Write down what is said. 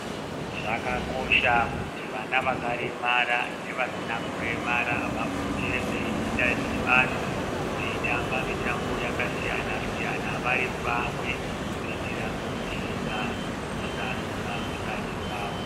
Zvakakosha kuti vana vakaremara nevasina kuremara vapote veiita dhibano veitamba mitambo yakasiyana-siyana vari pamwe kuitira kubvisa rusarura pakati pavo.